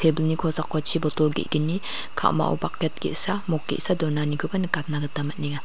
ebilni kosako chi botol ge·gni ka·mao baket ge·sa mok ge·sa donanikoba nikatna gita man·enga.